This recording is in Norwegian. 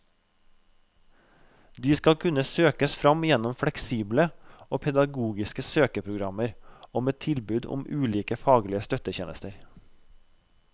De skal kunne søkes fram gjennom fleksible og pedagogiske søkeprogrammer og med tilbud om ulike faglige støttetjenester.